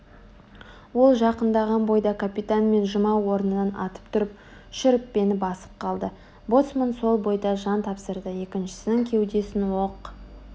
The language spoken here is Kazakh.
ол жақындаған бойда капитан мен жұма орнынан атып тұрып шүріппені басып қалды боцман сол бойда жан тапсырды екіншісінің кеудесін оқ